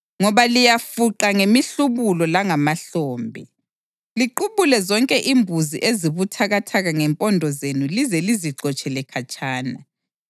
Ngoba liyafuqa ngemihlubulo langamahlombe, ligqubule zonke imbuzi ezibuthakathaka ngempondo zenu lize lizixotshele khatshana.